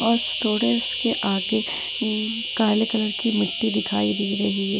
और स थोड़े उसके आगे उम काले कलर की मिट्टी दिखाई दे रही है।